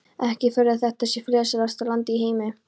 Ekki furða að þetta sé friðsælasta land í heimi.